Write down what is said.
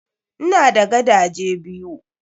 Ina da gadaje biyu.